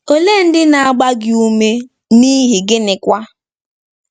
Olee ndị na-agba gị ume, n'ihi gịnịkwa?